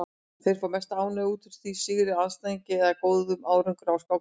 Þeir fá mesta ánægju út úr sigri á andstæðingi eða góðum árangri á skákmóti.